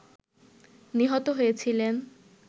নিহত হয়েছিলেন